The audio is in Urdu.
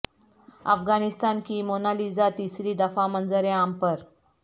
افغانستان کی مونا لیزا تیسری دفعہ منظر عام پر